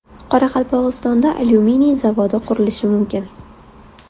Qoraqalpog‘istonda alyuminiy zavodi qurilishi mumkin.